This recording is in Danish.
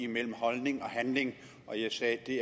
mellem holdning og handling jeg sagde at det